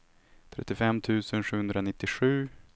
trettiofem tusen sjuhundranittiosju